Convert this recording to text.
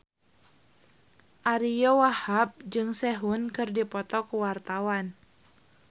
Ariyo Wahab jeung Sehun keur dipoto ku wartawan